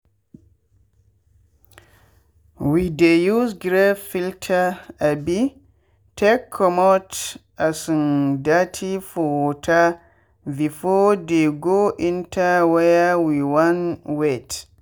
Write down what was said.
we dey use grave filter um take commot um dirty for water before dey go enter where we wan wet.